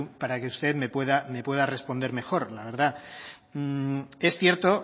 para que usted me pueda responder mejor la verdad es cierto